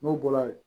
N'o bɔra yen